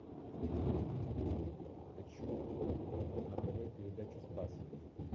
хочу на тв передачу спас